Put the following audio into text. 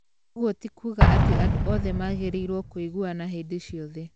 Ũguo ti kuga atĩ andũ othe magĩrĩirwo kũiguana hĩndĩ ciothe.